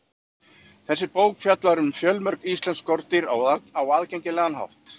Þessi bók fjallar um fjölmörg íslensk skordýr á aðgengilegan hátt.